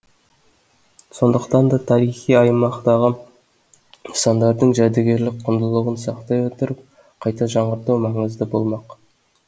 сондықтан да тарихи аймақтағы нысандардың жәдігерлік құндылығын сақтай отырып қайта жаңғырту маңызды болмақ